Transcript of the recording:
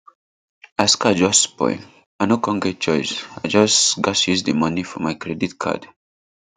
as car just spoil i no con get choice i just gas use di money for my credit card